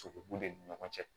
Sogo bu ni ɲɔgɔn cɛ